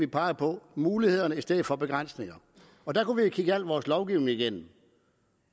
peger på mulighederne i stedet for begrænsningerne og der kunne vi kigge al vores lovgivning igennem